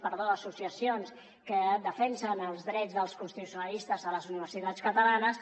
perdó associacions que defensen els drets dels constitucionalistes a les universitats catalanes